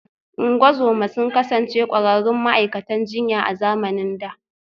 Ungozoma sun kasance ƙwararrun ma’aikatan jinya a zamanin da